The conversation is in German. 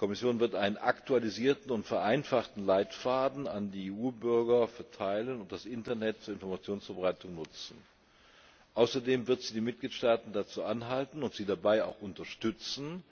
sie wird einen aktualisierten und vereinfachten Leitfaden an die EU Bürger verteilen und das Internet zur Informationsverbreitung nutzen. Außerdem wird sie die Mitgliedstaaten dazu anhalten und sie dabei auch unterstützen,